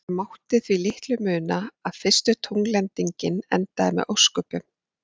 Það mátti því litlu muna að fyrsta tungllendingin endaði með ósköpum.